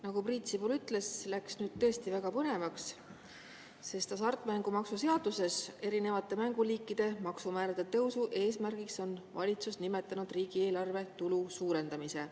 Nagu Priit Sibul ütles, läks nüüd tõesti väga põnevaks, sest hasartmängumaksu seaduses on valitsus erinevate mänguliikide maksumäärade tõusu eesmärgina nimetanud riigieelarve tulu suurendamist.